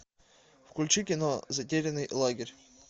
включи кино затерянный лагерь